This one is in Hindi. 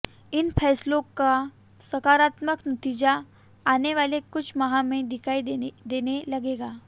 इन फैसलों का सकारात्मक नतीजा आने वाले कुछ माह में दिखाई देने लगेगा